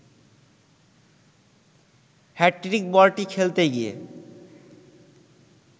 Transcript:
hat trick বলটি খেলতে গিয়ে